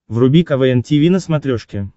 вруби квн тиви на смотрешке